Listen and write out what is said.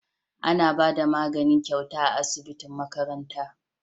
Ana Bada magani gyauta a asibitin makaranta